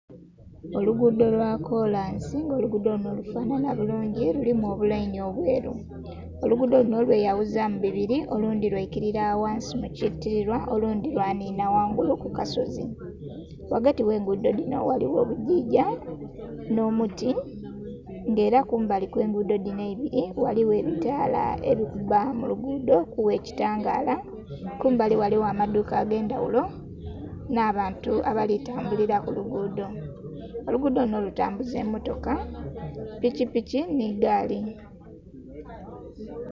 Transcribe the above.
Olugudho lwakolansi nga olugudho lunho lufanhanha lulungi lulimu obulaini obweru, olugudho lunho lweyaghuzamu bibiri, olundhi lwaikirira ghansi mukitirirwa, olundhi lwanhinha ghangulu kukasozi. Ghagati oghengudho dinho ghaligho obugigya nh'omuti nga era kumbali okwengudho dhinho eibiri ghaligho ebitala ebikubba mulugudho okugha ekitangala. Kumbali ghaligho amadhuuka agendhaghulo nh'abantu abalitambulira kulugudho, olugudho lunho kutambuza emmotoka, piki piki nheigaali.